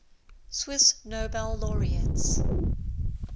swiss nobel laureates